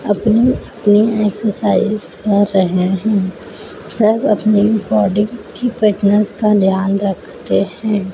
अपनी एक्सरसाइज कर रहे हैं। सब अपनी बॉडी की फिटनेस का ध्यान रखते हैं।